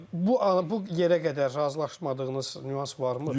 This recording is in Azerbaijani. Bu bu yerə qədər razılaşmadığınız nüans varmı?